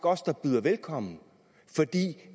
os der byder velkommen